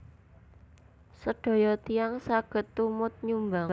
Sedaya tiyang saged tumut nyumbang